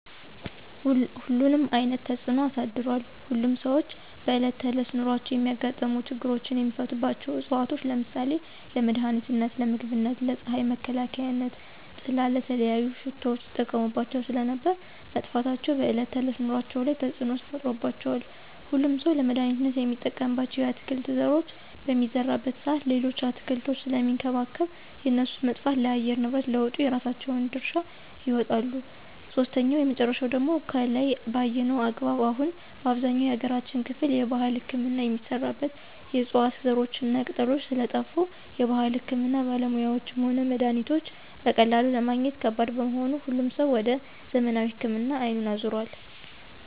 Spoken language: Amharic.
ሁሉንም አይነት ተፅኖ አሳድሯል። ሁሉም ሰዎች በእለት ተዕለት ኑሯቸው የሚያጋጥሙ ችግሮችን የሚፈቱባቸው ዕፅዋቶች ለምሳሌ :- ለመድሀኒትነት, ለምግብነት, ለፅሀይ መከላከያነት/ጥላ/,ለተለያዩ ሽቶዎች ይጠቀሙባቸው ስለነበር መጥፋታቸው በዕለት ከዕለት ኑሮአቸው ላይ ተፅዕኖ ተፈጥሮባቸዋል። ሁሉም ሠው ለመድሀኒትነት የሚጠቀምባቸውን የአትክልት ዘሮች በሚዘራበት ሰአት ሌሎችን አትክልቶች ስለሚንከባከብ የእነሱ መጥፋት ለአየር ንብረት ለውጡ የራሳቸውን ድርሻ ይወጣሉ። ሶስተኛውና የመጨረሻው ደግሞ ከላይ በአየነው አግባብ አሁን በአብዛኛው የሀገራችን ክፍል የባህል ህክምና የሚሰራበት የዕፅዋት ዘሮችና ቅጠሎች ስለጠፍ የባህል ህክምና ባለሙያዎችም ሆነ መድሀኒቶች በቀላሉ ለማግኘት ከባድ በመሆኑ ሁሉም ሰው ወደ ዘመናዊ ህክምና አይኑን አዞሯል።